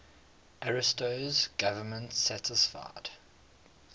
ariosto's government satisfied